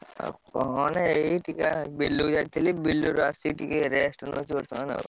ଆଉ କଣ ଏଇ ଟିକେ ବିଲକୁ ଯାଇଥିଲି ବିଲରୁ ଆସି ଟିକେ rest ନଉଚି ବର୍ତ୍ତମାନ।